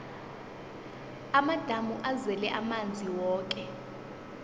amadamu azele amanzi woke